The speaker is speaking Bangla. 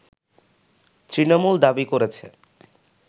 তৃণমূল দাবি করেছে